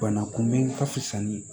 Bana kunbɛn ka fisa ni